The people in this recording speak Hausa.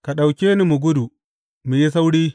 Ka ɗauke ni mu gudu, mu yi sauri!